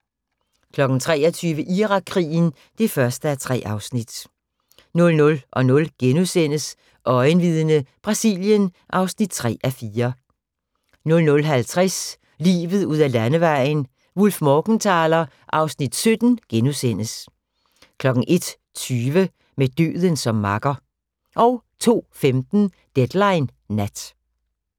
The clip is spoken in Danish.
23:00: Irakkrigen (1:3) 00:00: Øjenvidne - Brasilien (3:4)* 00:50: Livet ud ad landevejen: Wullf/Morgenthaler (Afs. 17)* 01:20: Med døden som makker 02:15: Deadline Nat